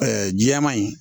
jɛman in